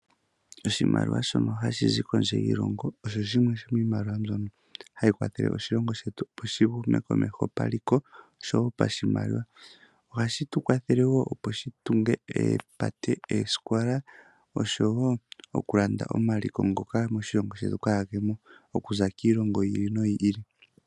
Oshimaliwa shono hashi zi kondje yiilongo, osho shimwe shomiimaliwa mbyono hayi kwathele oshilongo shetu opo shi hume komeho paliko, oshowo pashimaliwa. Ohashi tu kwathele woo opo shi tunge oopate, oosikola oshowo okulanda omaliko ngoka gaamo moshilongo shetu, okuza kiilongo yi ili noyi ili.